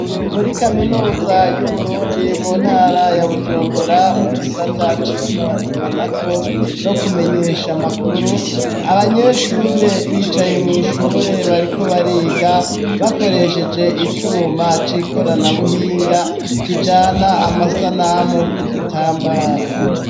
Muri kaminuza y'uburundi mu ntara ya bujumbura mu gisata c'itumatumanako no kumenyesha amakuru abanyeshure bicaye mwishure bariko bariga bakoresheje icuma c'ikorana buhinga kijana amasanamu ku gitambara.